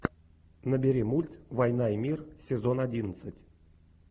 набери мульт война и мир сезон одиннадцать